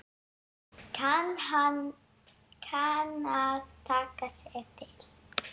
Kann að taka sig til.